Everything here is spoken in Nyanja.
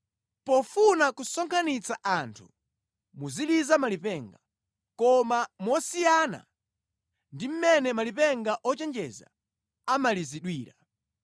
Pofuna kusonkhanitsa anthu, muziliza malipenga, koma mosiyana ndi mmene malipenga ochenjeza amalizidwira.